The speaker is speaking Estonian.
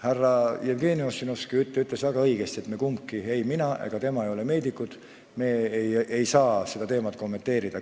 Härra Jevgeni Ossinovski ütles väga õigesti: me kumbki, ei mina ega tema, pole meedikud, me ei saa seda teemat kommenteerida.